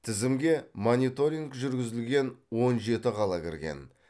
тізімге мониторинг жүргізілген он жеті қала кірген